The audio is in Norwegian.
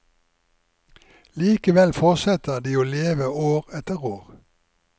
Likevel fortsetter de å leve år etter år.